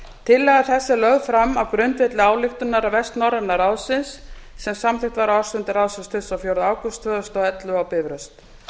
tillaga þessi er lögð fram á grundvelli ályktunar vestnorræna ráðsins sem samþykkt var á ársfundi ráðsins tuttugasta og fjórða ágúst tvö þúsund og ellefu á bifröst